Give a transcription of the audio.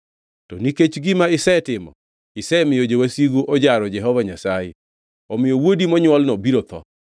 To nikech gima isetimo, isemiyo jowasigu ojaro Jehova Nyasaye, omiyo wuodi monywolno biro tho.”